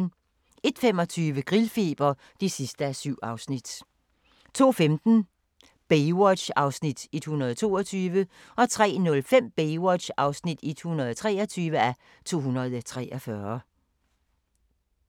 01:25: Grillfeber (7:7) 02:15: Baywatch (122:243) 03:05: Baywatch (123:243)